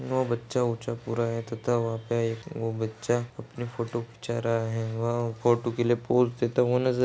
वो बच्चा-वच्चा पूरा है तथा वहा एक वो बच्चा अपनी फोटो खींचा रहा है वह फोटू के लिए पोज़ देता हुआ नज़र--